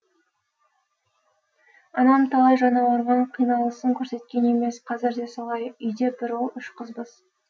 анам талай жаны ауырған қиналысын көрсеткен емес қазір де солай үйде бір ұл үш қызбыз